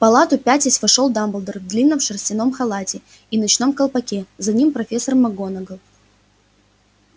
в палату пятясь вошёл дамблдор в длинном шерстяном халате и ночном колпаке за ним профессор макгонагалл